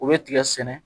U bɛ tigɛ sɛnɛ